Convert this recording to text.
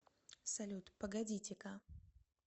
салют погодите ка